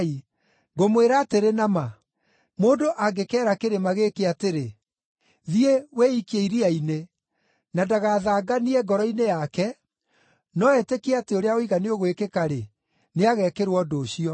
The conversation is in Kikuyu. Ngũmwĩra atĩrĩ na ma, mũndũ angĩkeera kĩrĩma gĩkĩ atĩrĩ, ‘Thiĩ, wĩikie iria-inĩ,’ na ndagathanganie ngoro-inĩ yake, no etĩkie atĩ ũrĩa oiga nĩũgwĩkĩka-rĩ, nĩagekĩrwo ũndũ ũcio.